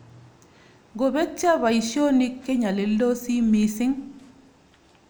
"Ngobetyo boisionik kenyolildosi missing ."